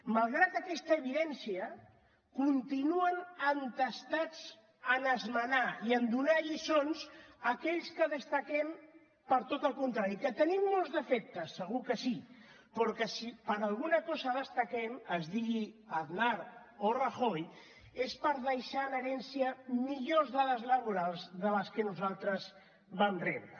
malgrat aquesta evidència continuen entestats a esmenar i a donar lliçons a aquells que destaquem per tot el contrari que tenim molts defectes segur que sí però que si per alguna cosa destaquem es digui aznar o rajoy és per deixar en herència millors dades laborals de les que nosaltres vam rebre